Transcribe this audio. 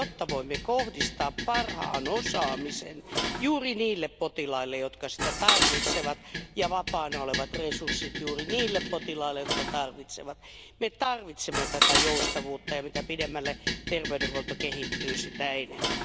Jotta voimme kohdistaa parhaan osaamisen juuri niille potilaille, jotka sitä tarvitsevat, ja vapaana olevat resurssit juuri niillä potilaille, jotka niitä tarvitsevat, me tarvitsemme tätä joustavuutta, ja mitä pidemmälle terveydenhuolto kehittyy, sitä enemmän.